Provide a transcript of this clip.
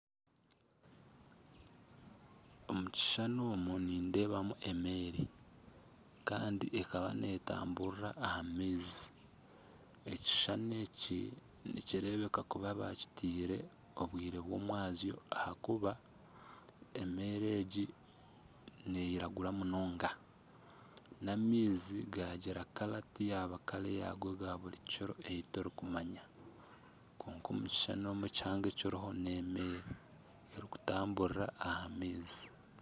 Omu kishushani omu nindeebamu emeeri kandi ekaba netamburira aha maizi ekishushani eki nikireebeka kuba bakiteire obwire bw'omumwabazyo ahakuba emeeri egi n'eyiragura munonga, n'amaizi gagira erangi tiyaba rangi eya buri kiro eyi turikumanya ,kwonka omu kishushani omu ekihango ekiriho n'emeeri erikutamburira aha maizi.